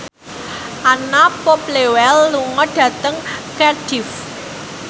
Anna Popplewell lunga dhateng Cardiff